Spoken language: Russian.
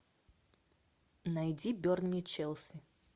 найди бернли челси